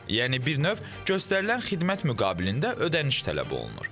Yəni bir növ göstərilən xidmət müqabilində ödəniş tələb olunur.